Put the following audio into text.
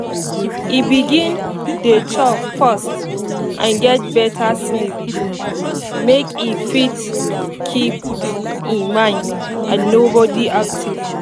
e begin dey chop first and get better sleep make e fit keep e mind and body active